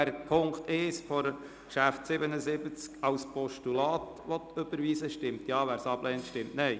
Wer Punkt 1 von Traktandum 77 als Postulat überweisen will, stimmt Ja, wer dies ablehnt, stimmt Nein.